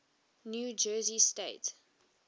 new jersey state